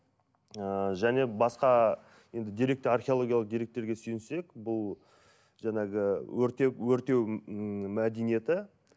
ыыы және басқа енді деректі археологиялық деректерге сүйінсек бұл жаңағы өртеп өртеу ммм мәдениеті